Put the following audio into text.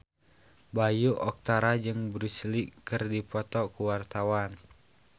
Bayu Octara jeung Bruce Lee keur dipoto ku wartawan